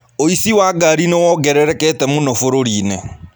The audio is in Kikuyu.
ũici wa ngari nĩ wongererekete mũno bũrũri-inĩ.